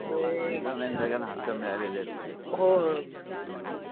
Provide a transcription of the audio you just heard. हक्क मिळालेले सगळे हो हम्म